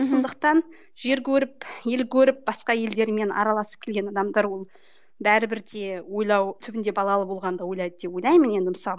мхм сондықтан жер көріп ел көріп басқа елдермен араласып келген адамдар ол бәрібір де ойлау түбінде балалы болғанда ойлайды деп ойлаймын енді мысалы